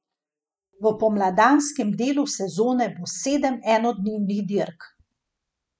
V pomladanskem delu sezone bo sedem enodnevnih dirk.